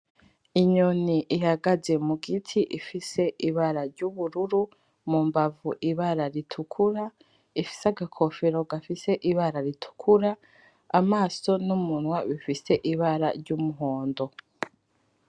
Inyoni ihagaze mugiti ifise ibara ryubururu, mumbavu ibara ritukura, ifise agakofero gafise ibara ritukura , amaso numunwa bifise ibara ryumuhondo.